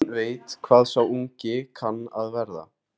Enginn veit hvað sá ungi kann að verða.